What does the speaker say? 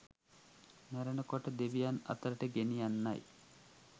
මැරෙන කොට දෙවියන් අතරට ගෙනියන්නයි.